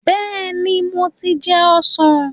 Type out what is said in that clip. Bẹ́ẹ̀ni, mo ti jẹun ọ̀sán.